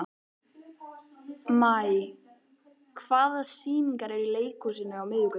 Maj, hvaða sýningar eru í leikhúsinu á miðvikudaginn?